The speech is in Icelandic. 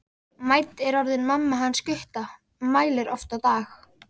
Mædd er orðin mamma hans Gutta, mælir oft á dag.